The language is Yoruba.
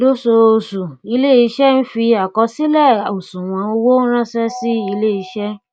lósooṣùilé iṣẹ n fi àkọsílẹ òsùwọn owó rán ṣẹ sí ilé iṣé